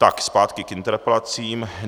Tak, zpátky k interpelacím.